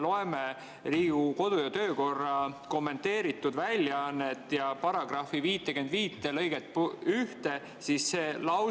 Loeme Riigikogu kodu‑ ja töökorra kommenteeritud väljaannet ja § 55 lõike 1 kohta.